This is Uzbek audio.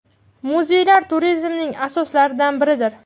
Muzeylar turizmning asoslaridan biridir.